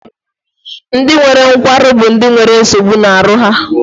Ndị nwere nkwarụ bụ ndị na nwere nsogbu na aru ha.